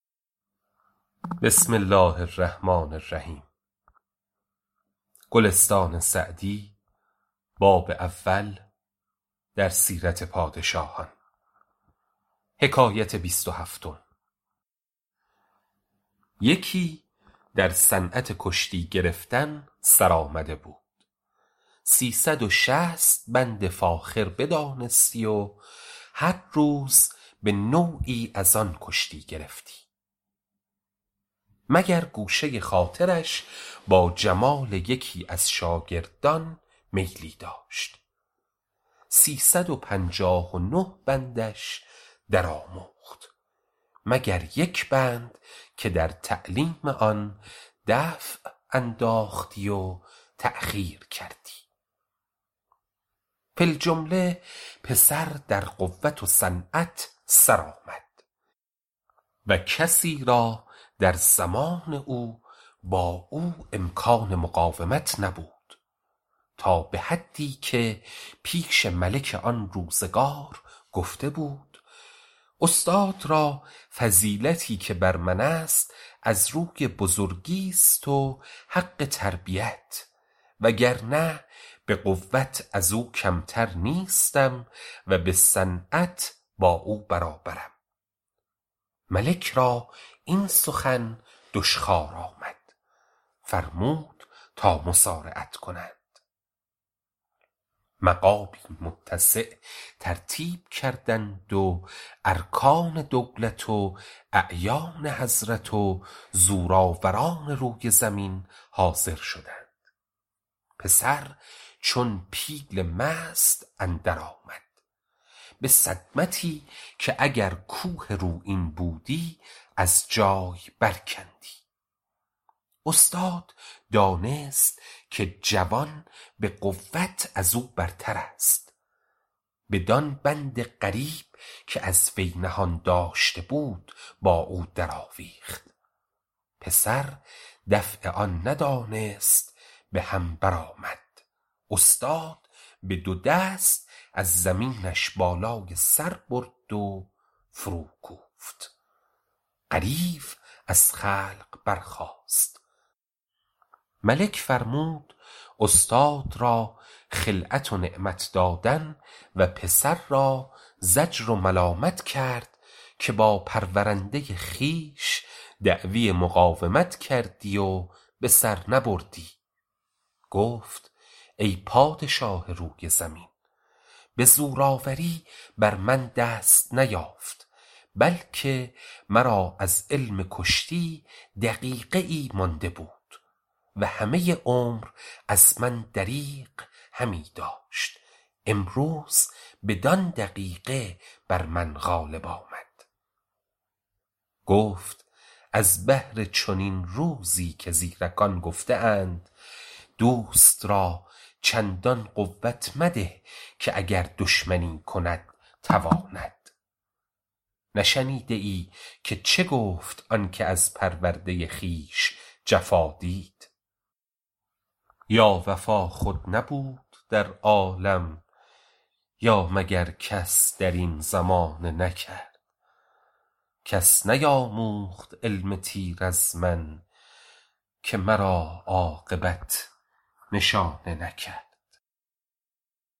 یکی در صنعت کشتی گرفتن سرآمده بود سی صد و شصت بند فاخر بدانستی و هر روز به نوعی از آن کشتی گرفتی مگر گوشه خاطرش با جمال یکی از شاگردان میلی داشت سی صد و پنجاه و نه بندش در آموخت مگر یک بند که در تعلیم آن دفع انداختی و تأخیر کردی فی الجمله پسر در قوت و صنعت سر آمد و کسی را در زمان او با او امکان مقاومت نبود تا به حدی که پیش ملک آن روزگار گفته بود استاد را فضیلتی که بر من است از روی بزرگیست و حق تربیت وگرنه به قوت از او کمتر نیستم و به صنعت با او برابرم ملک را این سخن دشخوار آمد فرمود تا مصارعت کنند مقامی متسع ترتیب کردند و ارکان دولت و اعیان حضرت و زورآوران روی زمین حاضر شدند پسر چون پیل مست اندر آمد به صدمتی که اگر کوه رویین بودی از جای بر کندی استاد دانست که جوان به قوت از او برتر است بدان بند غریب که از وی نهان داشته بود با او در آویخت پسر دفع آن ندانست به هم بر آمد استاد به دو دست از زمینش بالای سر برد و فرو کوفت غریو از خلق برخاست ملک فرمود استاد را خلعت و نعمت دادن و پسر را زجر و ملامت کرد که با پرورنده خویش دعوی مقاومت کردی و به سر نبردی گفت ای پادشاه روی زمین به زورآوری بر من دست نیافت بلکه مرا از علم کشتی دقیقه ای مانده بود و همه عمر از من دریغ همی داشت امروز بدان دقیقه بر من غالب آمد گفت از بهر چنین روزی که زیرکان گفته اند دوست را چندان قوت مده که دشمنی کند تواند نشنیده ای که چه گفت آن که از پرورده خویش جفا دید یا وفا خود نبود در عالم یا مگر کس در این زمانه نکرد کس نیاموخت علم تیر از من که مرا عاقبت نشانه نکرد